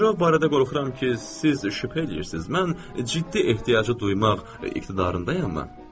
Girov barədə qorxuram ki, siz şübhə eləyirsiz, mən ciddi ehtiyacı duymaq iqtidarındayam mı?